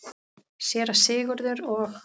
Séra Sigurður og